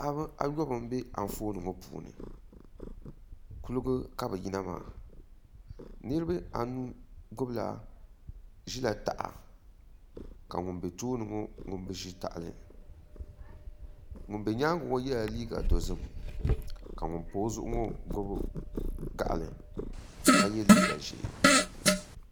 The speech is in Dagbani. Paɣaba ayobu n bɛ Anfooni ŋo puuni kuligi kq bi yina maa niraba anu ʒila taha ka ŋun bɛ tooni ŋo ŋun bi ʒi tahali ŋun bɛ nyaangi ŋo yɛla liiga dozim ka ŋun pa o zuɣu ŋo gbubi gaɣali ka yɛ liiga ʒiɛ